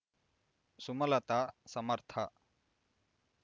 Sumalatha Samarth